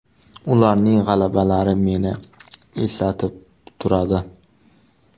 Ularning g‘alabalari meni eslatib turadi.